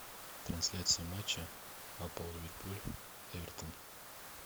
трансляция матча апл ливерпуль эвертон